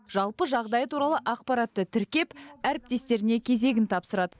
жалпы жағдайы туралы ақпаратты тіркеп әріптестеріне кезегін тапсырады